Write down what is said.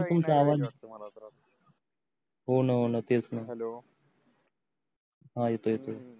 sir तुमच आवाज होण होण तेच न हेल्लो हा येतोय येतोय